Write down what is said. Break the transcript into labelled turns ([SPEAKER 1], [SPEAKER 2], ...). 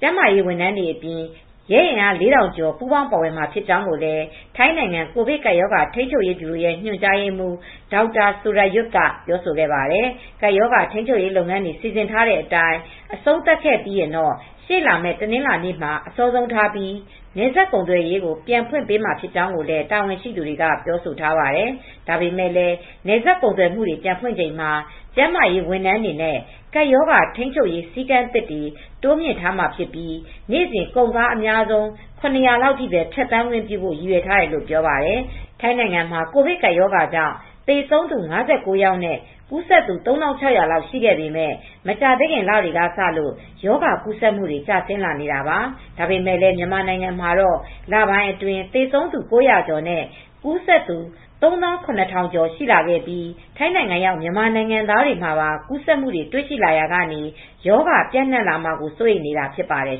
[SPEAKER 1] ကျန်းမာရေးဝန်ထမ်းတွေအပြင် ရဲအင်အား ၄,၀၀၀ ကျော် ပူးပေါင်းပါဝင်မှာ ဖြစ်ကြောင်းလည်း ထိုင်းနိုင်ငံ ကိုဗစ်ကပ်ရောဂါထိန်းချုပ်ရေးဗျူရိုရဲ့ ညွှန်ကြားရေးမှူး ဒေါက်တာ Sarayut Uttamangkhaphong ကပြောပါတယ်။ ကပ်ရောဂါ ထိန်းချုပ်ရေးလုပ်ငန်းတွေ စီစဉ်ထားတဲ့အတိုင်း အဆုံးသတ်ခဲ့ပြီးရင်တော့ ရှေ့လာမယ့် တနင်္လာနေ့မှာ အစောဆုံးထားပြီး နယ်စပ်ကုန်သွယ်ရေးကို ပြန်ဖွင့်မှာဖြစ်ကြောင်းလည်း တာဝန်ရှိသူတွေက ပြောဆိုထားပါတယ်။ ဒါပေမဲ့လည်း နယ်စပ်ကုန်သွယ်မှုတွေ ပြန်ဖွင့်ချိန်မှာ ကျန်းမာရေးဝန်ထမ်းတွေနဲ့ ကပ်ရောဂါထိန်းချုပ်ရေး စည်းကမ်းသစ်တွေ တိုးမြှင့်ထားမှာဖြစ်ပြီး နေ့စဉ် ကုန်ကားအများဆုံး ၇၀၀ အထိ ဖြတ်သန်းခွင့်ပြုဖို့ ရည်ရွယ်ထားတယ်လို့လည်း ပြောပါတယ်။ ထိုင်းနိုင်ငံမှာ ကိုဗစ်ကပ်ရောဂါကြောင့် သေဆုံးသူ ၅၉ ယောက်နဲ့ ကူးစက်သူ ၃,၆၀၀ လောက်ရှိခဲ့ပေမဲ့ မကြာသေးခင် လတွေကစလို့ ရောဂါကူးစက်မှုတွေ ကျဆင်းလာနေတာပါ။ ဒါပေမဲ့လည်း မြန်မာနိုင်ငံမှာတော့ လပိုင်းအတွင်း သေဆုံးသူ ၉၀၀ ကျော်နဲ့ ကူးစက်သူ ၃၇,၀၀၀ ကျော် ရှိလာပြီး ထိုင်းနိုင်ငံရောက် မြန်မာနိုင်ငံသားတွေမှာပါ ကူးစက်မှုတွေ တွေ့ရှိလာရာက ရောဂါပျံ့နှံ့မှာကို စိုးရိမ်နေတာ ဖြစ်ပါတယ်